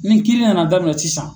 Ni kiiri nana daminɛ sisan